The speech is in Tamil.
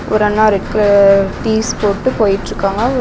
ஒரு அண்ணா ரெட் கலர் டிஸ் போட்டு போய்ட்ருக்காங்க ஒரு.